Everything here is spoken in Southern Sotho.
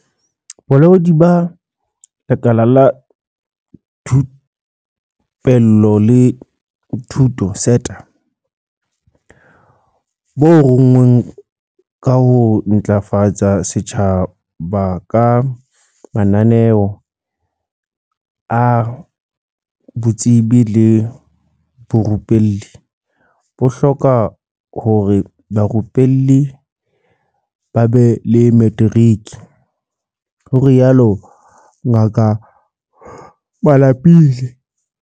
"Bolaodi ba Lekala la Thupello le Thuto, SETA, bo rongweng ka ho ntlafatsa setjhaba ka mananeo a botsebi le borupelli, bo hloka hore barupellwi ba be le materiki," ho rialo Ngaka Malapile.